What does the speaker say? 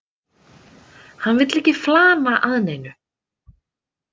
Hann vill ekki flana að neinu.